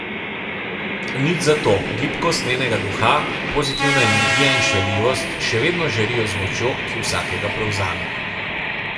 Nič za to, gibkost njenega duha, pozitivna energija in šaljivost še vedno žarijo z močjo, ki vsakega prevzame.